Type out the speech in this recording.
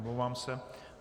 Omlouvám se.